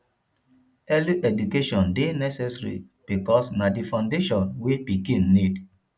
early education de necessary because na di foundation wey pikin need